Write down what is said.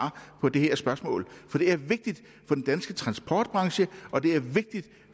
på det her spørgsmål for det er vigtigt for den danske transportbranche og det er vigtigt